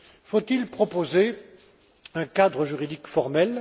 Faut il proposer un cadre juridique formel?